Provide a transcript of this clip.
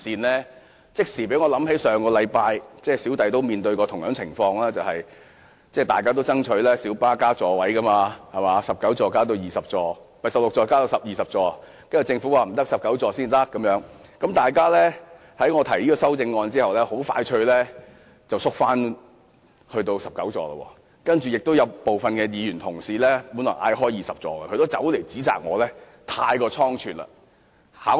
這即時令我想起上星期我也面對同樣情況，大家都爭取小巴增設座位，政府只同意由16個增至19個座位，而非增至20個座位，但有議員在我提出由16個增至20個座位的修正案後很快退縮，只願意接受增至19個座位。